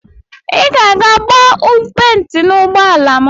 Iga ege gba penti na ụgbọala m.